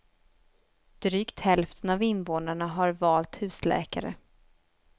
Drygt hälften av invånarna har valt husläkare.